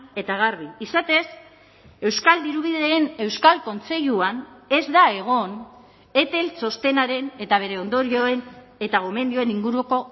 eta garbi izatez euskal dirubideen euskal kontseiluan ez da egon etel txostenaren eta bere ondorioen eta gomendioen inguruko